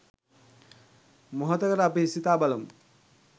මොහොතකට අපි සිතා බලමු.